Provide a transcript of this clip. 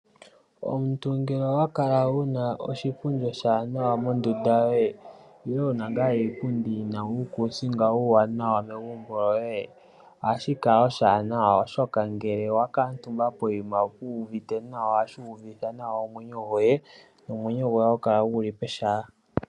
Omuntu ngele owakala wuna oshipundi oshiwanawa mondunda yoye nenge wuna nga iipundi yina uukusinga uuwanawa megumbo lyoye ohashi kala oshiwanawa oshoka ngele wa kutumba poyima wuuvite nawa ,wuuvutha nawa omwenyo goye, omwenyo goye ohagu kala guli pehala.